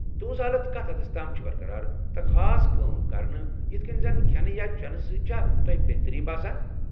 تُہنز حالتھ کتھ حدس تام چھ برقرار، تہٕ خاص کٲم کرٕنہ ، یتھ کٔنۍ زن کھٮ۪نہٕ یا چٮ۪نہٕ سۭتۍ چھا تۄہہ بہتری باسان؟